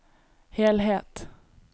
helhet